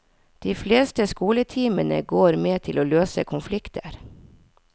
De fleste skoletimene går med til å løse konflikter.